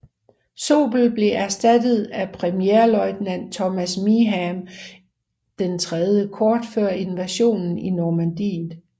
Sobel blev erstattet af premierløjtnant Thomas Meeham III kort før invasionen i Normandiet